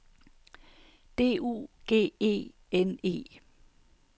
D U G E N E